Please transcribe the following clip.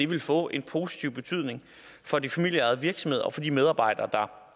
vil få en positiv betydning for de familieejede virksomheder og for de medarbejdere der